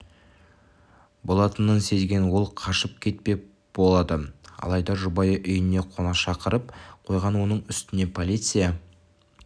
болатынын сезген ол қашыып кетпек болады алайда жұбайы үйіне қонақ шақырып қойған оның үстіне полиция